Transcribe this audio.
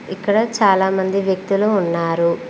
ఇక్కడ చాలా మంది వ్యక్తులు ఉన్నారు.